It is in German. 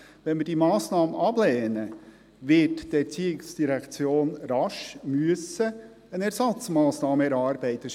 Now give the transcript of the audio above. Lehnen wir diese Massnahme ab, wird die ERZ rasch eine Ersatzmassnahme erarbeiten müssen.